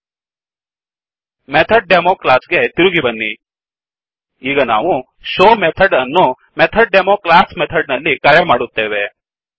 MethodDemoಮೆಥಡ್ demo class ಗೆ ತಿರುಗಿ ಬನ್ನಿ ಈಗ ನಾವುshowಶೋ ಮೆಥಡ್ ಅನ್ನು MethodDemoಮೆಥಡ್ ಡೆಮೊ ಕ್ಲಾಸ್ ಮೆಥಡ್ ನಲ್ಲಿ ಕರೆ ಮಾಡುತ್ತೇವೆ